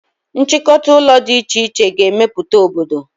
Nchịkọta ụlọ dị iche iche ga-emeputa obodo